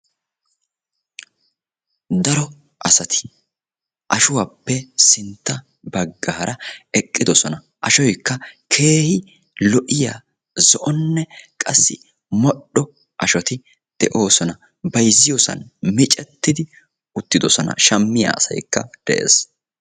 Daro asati ashuwappe sintta baggaara eqqidosona. Asgoykka Keehi lo"iya zo'onne qassi modhdho ashoti de'oosona. Bayzziyosan micettidi uttidosona shammiya asaykka de'es.